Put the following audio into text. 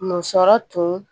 Musɔrɔ tun